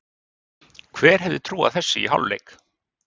Hver hefði trúað þessu í hálfleik?